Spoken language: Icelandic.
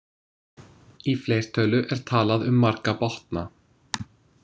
Í fleirtölu er talað um marga botna.